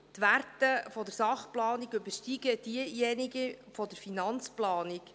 : Die Werte der Sachplanung übersteigen jene der Finanzplanung.